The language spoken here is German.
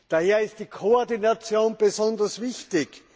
Daher ist die Koordination besonders wichtig.